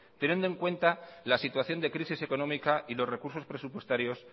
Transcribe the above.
teniendo en cuenta la situación de crisis económica y los recursos presupuestarios